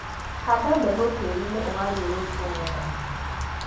Handa mbegu tĩriinĩ ũgariũrĩtwo wega.